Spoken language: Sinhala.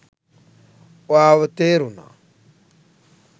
ඔයාව තේරුණා